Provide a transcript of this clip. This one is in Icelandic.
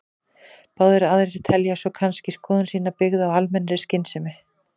Báðir aðilar telja svo kannski skoðun sína byggða á almennri skynsemi.